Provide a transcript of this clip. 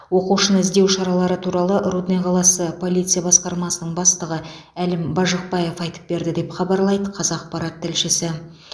оқушыны іздеу шаралары туралы рудный қаласы полиция басқармасының бастығы әлім бажықбаев айтып берді деп хабарлайды қазақпарат тілшісі